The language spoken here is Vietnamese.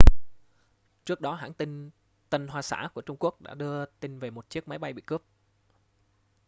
trước đó hãng tin tân hoa xã của trung quốc đã đưa tin về một chiếc máy bay bị cướp